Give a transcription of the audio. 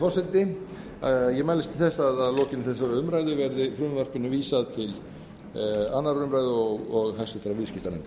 forseti ég mælist til þess að að lokinni þessari umræðu verði frumvarpinu vísað til annarrar umræðu og háttvirtur viðskiptanefndar